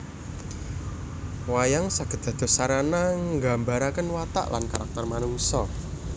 Wayang saged dados sarana nggambaraken watak lan karakter manungsa